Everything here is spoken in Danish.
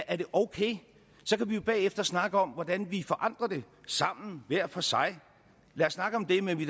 er det okay så kan vi jo bagefter snakke om hvordan vi forandrer det sammen hver for sig lad os snakke om det men vi